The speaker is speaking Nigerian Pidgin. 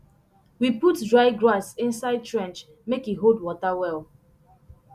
we put dry grass inside trench make e hold water well